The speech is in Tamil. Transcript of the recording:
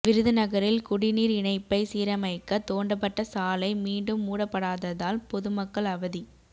விருதுநகரில் குடிநீா் இணைப்பை சீரமைக்க தோண்டப்பட்ட சாலை மீண்டும் மூடப்படாததால் பொதுமக்கள் அவதி